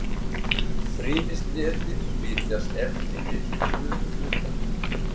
Um frymisnetið flytjast efni milli frumuhluta.